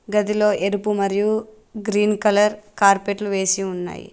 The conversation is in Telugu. గదిలో ఎరుపు మరియు గ్రీన్ కలర్ కార్పెట్లు వేసి ఉన్నాయి